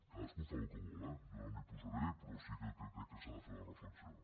cadascú fa el que vol eh jo no m’hi posaré però sí que crec que s’ha de fer la reflexió